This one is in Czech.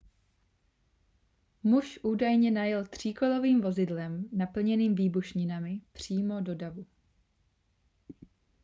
muž údajně najel tříkolovým vozidlem naplněným výbušninami přímo do davu